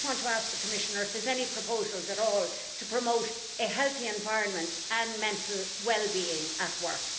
I just want to ask the Commissioner if there are any proposals at all to promote a healthy environment and mental wellbeing at work.